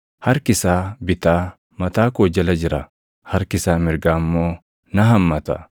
Harki isaa bitaa mataa koo jala jira; harki isaa mirgaa immoo na hammata.